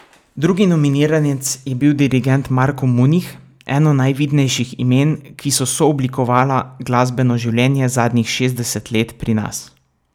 Drugi nominiranec je bil dirigent Marko Munih, eno najvidnejših imen, ki so sooblikovala glasbeno življenje zadnjih šestdeset let pri nas.